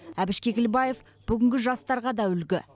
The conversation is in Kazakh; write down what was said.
әбіш кекілбаев бүгінгі жастарға да үлгі